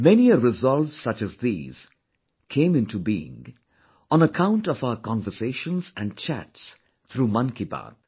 Many a resolve such as these came into being on account of our conversations & chats through Mann Ki Baat